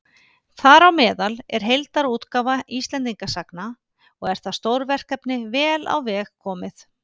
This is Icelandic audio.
Þar á meðal er heildarútgáfa Íslendingasagna, og er það stórverkefni vel á veg komið.